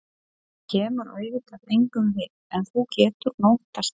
Það kemur auðvitað engum við, en þú getur notast við